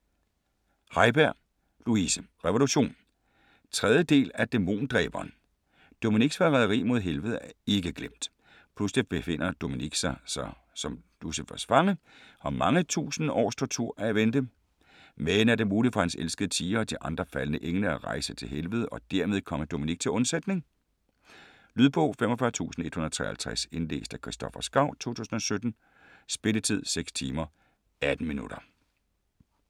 Haiberg, Louise: Revolution 3. del af Dæmondræberen. Dominic's forræderi mod helvede er ikke glemt. Pludselig befinder Dominic sig som Lucifers fange, og mange tusind års tortur er i vente. Men er det muligt for hans elskede Tia og de andre faldne engle at rejse til helvede og dermed komme Dominic til undsætning? Lydbog 45153 Indlæst af Christoffer Skau, 2017. Spilletid: 6 timer, 18 minutter.